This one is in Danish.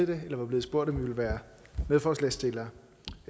det eller var blevet spurgt om vi ville være medforslagsstillere